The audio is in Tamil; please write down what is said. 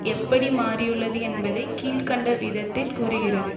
எப்படி மாறியுள்ளது என்பதை கீழ் கண்ட விதத்தில் கூறுகிறது